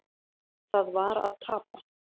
Það var að tapa.